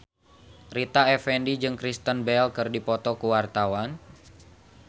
Rita Effendy jeung Kristen Bell keur dipoto ku wartawan